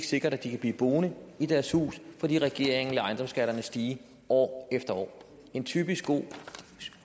sikkert at de kan blive boende i deres hus fordi regeringen lader ejendomsskatterne stige år efter år en typisk god